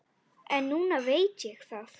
En núna veit ég það.